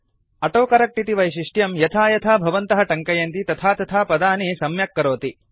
autocorrect इति वैशिष्ट्यं यथा यथा भवन्तः टङ्कयन्ति तथा तथा पदानि सम्यक् करोति